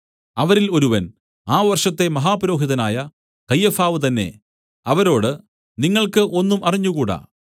അവരിൽ ഒരുവൻ ആ വർഷത്തെ മഹാപുരോഹിതനായ കയ്യഫാവ് തന്നേ അവരോട് നിങ്ങൾക്ക് ഒന്നും അറിഞ്ഞുകൂടാ